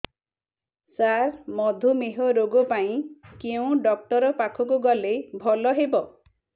ସାର ମଧୁମେହ ରୋଗ ପାଇଁ କେଉଁ ଡକ୍ଟର ପାଖକୁ ଗଲେ ଭଲ ହେବ